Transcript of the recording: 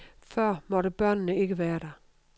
Før måtte børnene ikke være der.